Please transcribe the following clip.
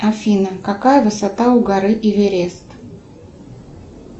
афина какая высота у горы эверест